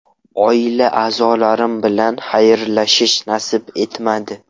Oila-a’zolarim bilan xayrlashish nasib etmadi.